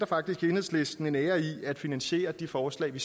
faktisk i enhedslisten sætter en ære i at finansiere de forslag vi